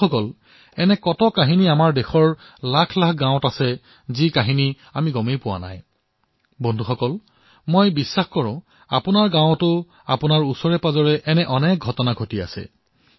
বন্ধুসকল আপোনালোকৰ গাঁৱতো ওচৰেপাজৰে এনে অনেক ঘটনা হয়তো ঘটিছে